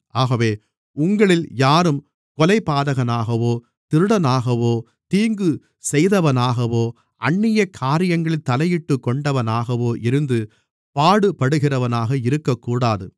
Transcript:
ஆகவே உங்களில் யாரும் கொலைபாதகனாகவோ திருடனாகவோ தீங்கு செய்தவனாகவோ அந்நிய காரியங்களில் தலையிட்டுக்கொண்டவனாகவோ இருந்து பாடுபடுகிறவனாக இருக்கக்கூடாது